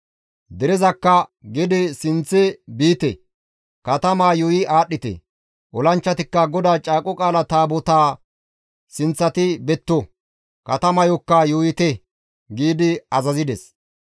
Derezakka, «Gede sinththe biite; katamaa yuuyi aadhdhite; olanchchatikka GODAA Caaqo Qaala Taabotaappe sinththati betto; katamayokka yuuyite» giidi azazides.